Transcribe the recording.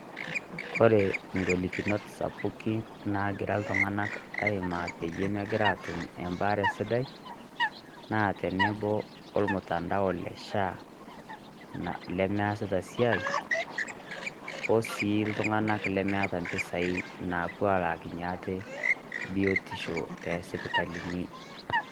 Kore ing'olikinot sapukin naagira iltung'anak aimaa peyie megira atum ebaare sidai, naa tenebo omtandao le SHA, lemeesita esiai, osi iltung'anak lemeeta impisai napuo alakinye ate biotisho tesipitalini.